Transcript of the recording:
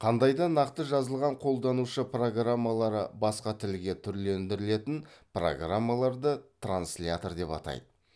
қандай да нақты жазылған қолданушы программалары басқа тілге түрлендіретін программаларды транслятор деп атайды